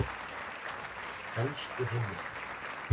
Helstu heimildir